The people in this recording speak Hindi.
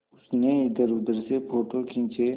उसने इधरउधर से फ़ोटो खींचे